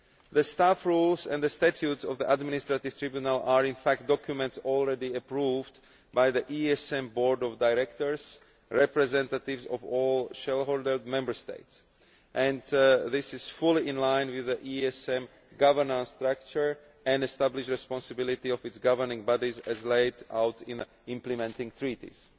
The staff rules and the statute of the administrative tribunal are in fact documents already approved by the ESM Board of Directors representatives of all shareholder Member States and this is fully in line with the ESM government structure and the established responsibility of its governing bodies, as laid out in the implementing treaties.